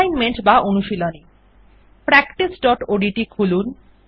assignment বা অনুশীলনী practiceওডিটি খুলুন